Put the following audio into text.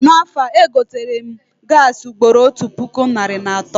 Na afọ a, egoterem gaasị ugboro otu puku narị na atọ